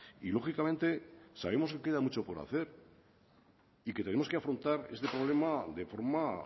y lógicamente sabemos que queda mucho por hacer y que tenemos que afrontar este problema de forma